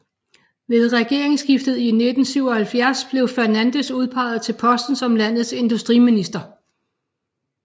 Ved regeringsskiftet i 1977 blev Fernandes udpeget til posten som landets industriminister